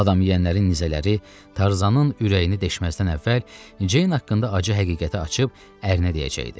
Adam yeyənlərin nizələri Tarzanın ürəyini deşməzdən əvvəl Ceyn haqqında acı həqiqəti açıb ərinə deyəcəkdi.